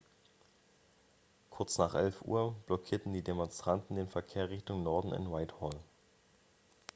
kurz nach 11.00 uhr blockierten die demonstranten den verkehr richtung norden in whitehall